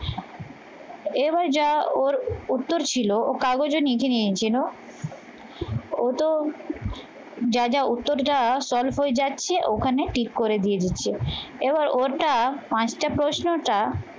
এবার যা ওর উত্তর ছিল ও কাগজে লিখে নিয়েছিল ও তো যা যা উত্তর দেওয়া solve হয়ে যাচ্ছে ওখানে tick করে দিয়ে দিচ্ছে এবার ওটা পাঁচটা প্রশ্নটা